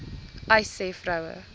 uys sê vroue